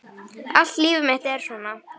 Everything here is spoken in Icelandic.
Allt líf mitt er svona!